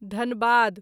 Dhanbad